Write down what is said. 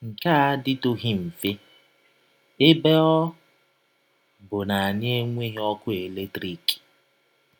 Nke a adịtụghị mfe, ebe ọ bụ na anyị enweghị ọkụ eletrik.